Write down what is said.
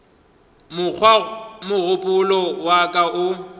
mokgwa mogopolo wa ka o